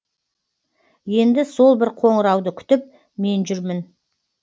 енді сол бір қоңырауды күтіп мен жүрмін